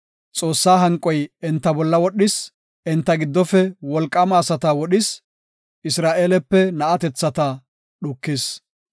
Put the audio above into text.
Xoossaa hanqoy enta bolla wodhis; enta giddofe wolqaama asata wodhis; Isra7eelepe na7atethata dhukis.